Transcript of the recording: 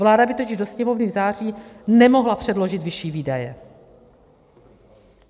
Vláda by totiž do Sněmovny v září nemohla předložit vyšší výdaje.